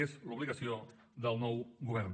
és l’obligació del nou govern